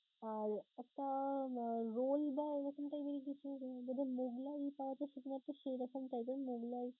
আর একটা আহ roll বা এরকম type এর কিছু যেটায় মোগলাই পাওয়া যায় শুধুমাত্র সেরকম type এর মোগলাই